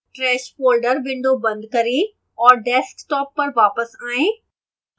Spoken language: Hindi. trash folder window बंद करें और desktop पर वापस आएं